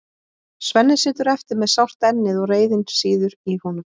Svenni situr eftir með sárt ennið og reiðin sýður í honum.